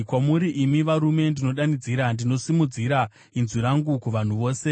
“Kwamuri, imi varume, ndinodanidzira; ndinosimudzira inzwi rangu kuvanhu vose.